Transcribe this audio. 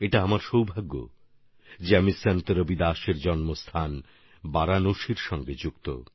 এটা আমার সৌভাগ্য যে আমি সন্ত রবিদাসজির জন্মস্থান বারাণসীর সঙ্গে যুক্ত